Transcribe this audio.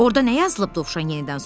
Orda nə yazılıb? Dovşan yenidən soruşdu.